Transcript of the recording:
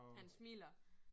Han smiler